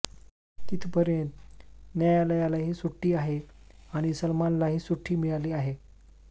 तिथपर्यंत न्यायालयालाही सुट्टी आहे आणि सलमानलाही सुट्टी मिळाली आहे